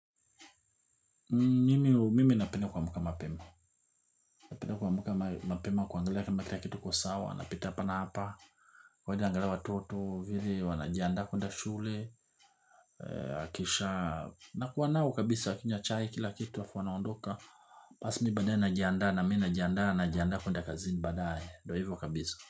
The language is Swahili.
Mimi napenda kuamka mapema, napenda kuamka mapema kuangalia kama kitu iko sawa, napita hapa hapa, kweja angalia watoto, vile wanajiandaa kwenda shule, akisha, na kuwa nao kabisa wakinya chai kila kitu afu wanaondoka, basi mi baadaye najiandaa na mi najiandaa kwenda kazini baadaye, ndo hivo kabisa.